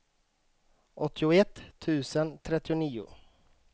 åttioett tusen trettionio